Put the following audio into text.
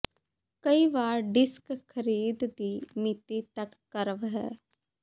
ਕਈ ਵਾਰ ਡਿਸਕ ਖਰੀਦ ਦੀ ਮਿਤੀ ਤੱਕ ਕਰਵ ਹੈ